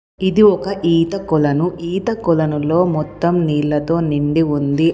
ఇది ఒక ఈత కొలను. ఈత కొలనులో మొత్తం నీళ్లతో నిండి ఉంది.